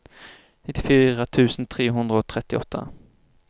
nittifire tusen tre hundre og trettiåtte